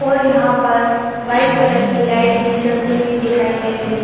और यहाँ पर वाइट कलर की लाइट भी जलती हुई दिखाई दे रही हैं ।